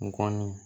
N kɔni